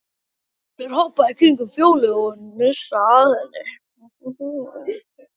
Kolur hoppar í kringum Fjólu og hnusar að henni.